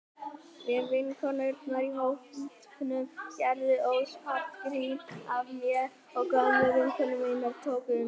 Nýju vinkonurnar í hópnum gerðu óspart grín að mér og gömlu vinkonur mínar tóku undir.